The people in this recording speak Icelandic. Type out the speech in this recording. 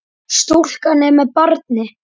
Stúlkan er með barni.